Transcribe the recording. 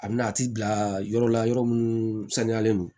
A bɛna a ti bila yɔrɔ la yɔrɔ minnu saniyalen don